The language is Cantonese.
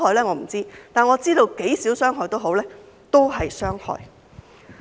我不知道，但我知道傷害再少也好，都是傷害。